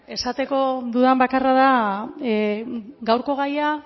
esateko dudan bakarra da gaurko gaia